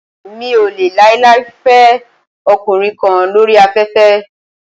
Mi ò lè láíláí fẹ ọkùnrin kan lóri afẹ́fẹ́.